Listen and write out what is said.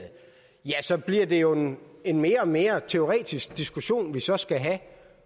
ja så bliver det jo en en mere og mere teoretisk diskussion vi så skal have